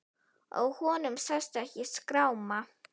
Á honum sást ekki skráma.